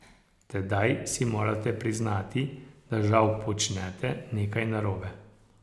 Tedaj si morate priznati, da žal počnete nekaj narobe.